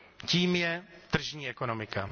Tím je tržní ekonomika.